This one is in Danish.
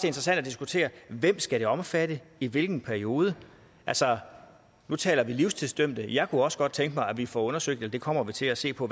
interessant at diskutere hvem det skal omfatte i hvilken periode altså nu taler vi livstidsdømte men jeg kunne også godt tænke mig at vi får undersøgt det kommer vi til at se på